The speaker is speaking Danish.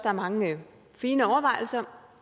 er mange fine overvejelser